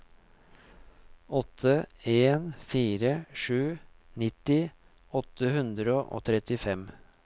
åtte en fire sju nitti åtte hundre og trettifem